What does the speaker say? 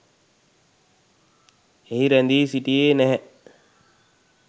එහි රැඳී සිටියේ නැහැ.